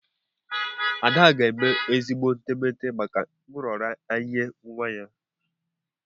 Ada ga-eme ezigbo etemeete maka nraranye nwa ya.